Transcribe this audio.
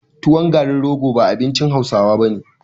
Tuwon garin rogo ba abincin hausawa bane